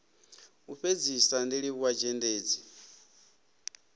u fhedzisa ndi livhuwa zhendedzi